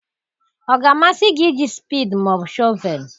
Ọ ga-amasị gị iji spedii ma ọ bụ shọvel?